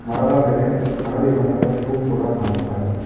ಮರದ ಮೇಲೆ ಹಳದಿ ಬಣ್ಣದ ಟ್ಯೂಬ್ ಕೂಡ ಕಾಣಿಸ್ತಾ ಇದೆ.